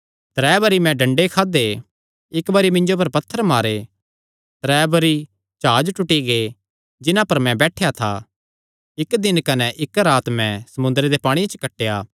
त्रै बरी मैं डंडे खादे इक्क बरी मिन्जो पर पत्थर मारे त्रै बरी जाह्ज टूटी गै जिन्हां पर मैं बैठेया था इक्क दिन कने इक्क रात मैं समुंदरे दे पांणिये च कटेया